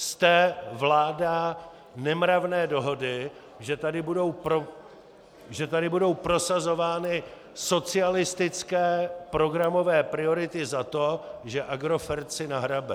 Jste vláda nemravné dohody, že tady budou prosazovány socialistické programové priority za to, že Agrofert si nahrabe.